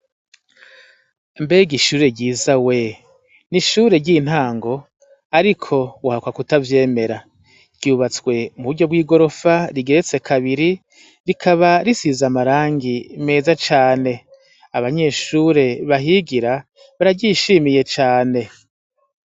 Mbega ishure ryiza we ni ishure ry'intango, ariko uhakwa kutavyemera ryubatswe mu buryo bw'i gorofa rigeretse kabiri rikaba risize amarangi meza cane abanyeshure bahigira bararyishimiye cane.